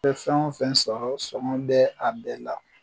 I be fɛn o fɛn sɔrɔ songɔ bɛ a bɛɛ la